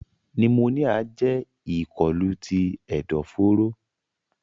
Pneumonia jẹ ikolu ti ẹdọforo.